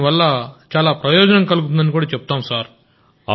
దీనివల్ల చాలా ప్రయోజనం కలుగుతుంది సార్